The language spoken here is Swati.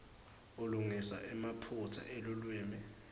ulungisa emaphutsa elulwimi